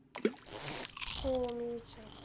हो मी विचारते.